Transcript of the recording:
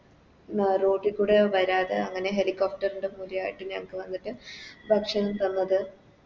ആ Road കൂടെ വരാതെ അവനെ Helicopter ൻറെ ഞങ്ങക്ക് വന്നിട്ട് ഭക്ഷണം തന്നത്